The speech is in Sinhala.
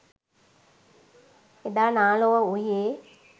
එදා නා ලොව වූයේ